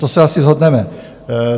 To se asi shodneme.